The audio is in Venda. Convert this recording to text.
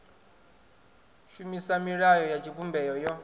shumisa milayo ya tshivhumbeo yo